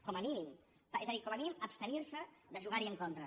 com a mínim és a dir com a mínim abstenir se de jugar hi en contra